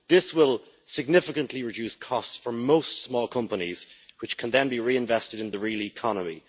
This will significantly reduce costs for most small companies, which can then be reinvested in the real economy.